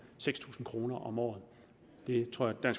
seks tusind kroner om året det tror jeg